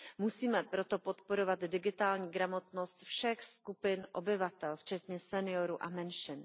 Musíme proto podporovat digitální gramotnost všech skupin obyvatel včetně seniorů a menšin.